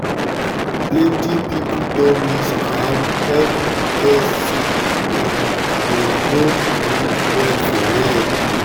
plenty peiple don miss um help because say um them no um well for head.